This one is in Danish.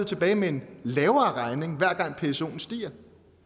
tilbage med en lavere regning hver gang psoen stiger